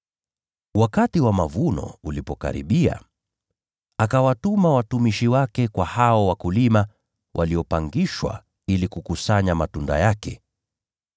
Wakati wa mavuno ulipokaribia, akawatuma watumishi wake kwa hao wapangaji ili kukusanya matunda yake.